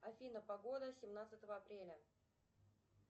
афина погода семнадцатого апреля